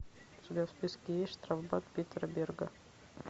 у тебя в списке есть штрафбат питера берга